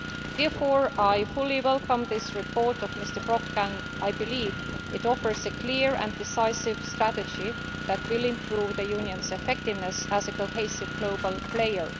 Therefore, I fully welcome this report by Mr Brok, and I believe it offers a clear and decisive strategy that will improve the Union's effectiveness as a cohesive global player.